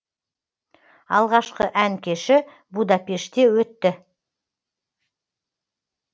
алғашқы ән кеші будапештте өтті